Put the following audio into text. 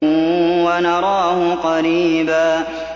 وَنَرَاهُ قَرِيبًا